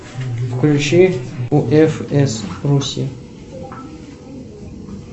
включи уфс руси